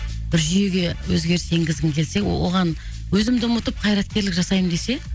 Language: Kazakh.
бір жүйеге өзгеріс енгізгің келсе о оған өзімді ұмытып қайраткерлік жасаймын десе